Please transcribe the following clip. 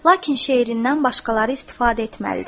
Lakin şeirindən başqaları istifadə etməlidir.